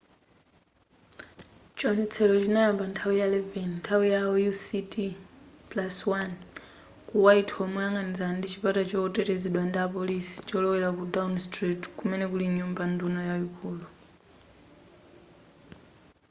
chionetsero chinayamba nthawi ya 11 nthawi yao uct+1 ku whitehall moyang'anizana ndi chipata chotetezedwa ndi apoliso cholowela ku downing street kumene kuli nyumba nduna yaikulu